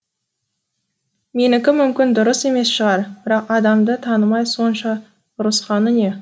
менікі мүмкін дұрыс емес шығар бірақ адамды танымай сонша ұрысқаны не